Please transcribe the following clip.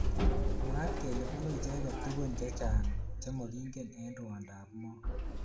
Mwaat kele bunu icheket tukun. chechang chemakingen eng rwondo ab moo.